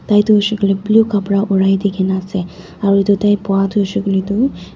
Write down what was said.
Tai toh hoishey koilae blue capra oraidikena ase aru edu tai bowa toh hoishey koilae tu--